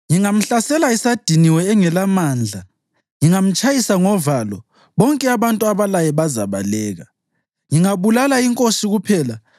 Ngingamhlasela esadiniwe engelamandla. Ngingamtshayisa ngovalo, bonke abantu abalaye bazabaleka. Ngingabulala inkosi kuphela